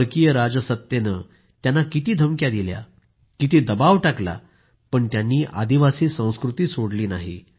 परदेशी राजसत्तेनं किती त्यांना धमक्या दिल्या किती दबाव टाकला पण त्यांनी आदिवासी संस्कृती सोडली नाही